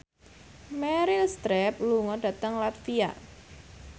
Meryl Streep lunga dhateng latvia